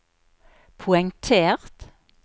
poengtert